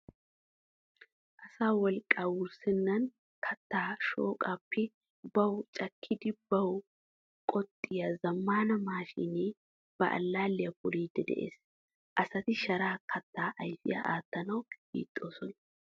Asa wolqqaa wurssennan kattaa shooqaappe bawu cakkidi bawu qoxxiya zammaana maashiinee ba allaalliya poliiddi de'es. Asati sharaa kattaa ayfiya aattanawu hiixxoosona.